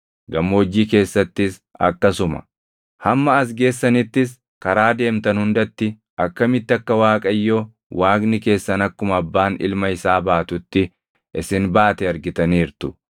gammoojjii keessattis akkasuma. Hamma as geessanittis karaa deemtan hundatti akkamitti akka Waaqayyo Waaqni keessan akkuma abbaan ilma isaa baatutti isin baate argitaniirtu.”